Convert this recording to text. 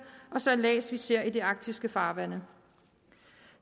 og sejlads som vi ser i de arktiske farvande